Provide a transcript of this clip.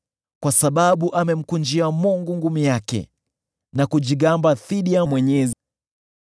kwa sababu amemkunjia Mungu ngumi yake na kujigamba dhidi ya Mwenyezi,